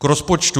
K rozpočtu.